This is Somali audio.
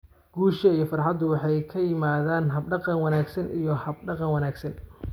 Guusha iyo farxaddu waxay ka yimaaddaan hab-dhaqan wanaagsan iyo hab-dhaqan wanaagsan.